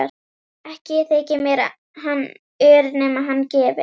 Ekki þyki mér hann ör nema hann gefi.